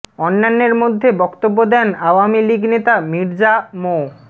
অন্যান্যের মধ্যে বক্তব্য দেন আওয়ামী লীগ নেতা মির্জা মো